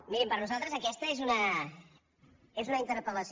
mirin per nosaltres aquesta és una interpel·lació